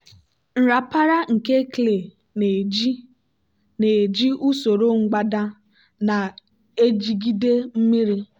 nrapara nke clay na-eji na-eji usoro mgbada na-ejigide mmiri.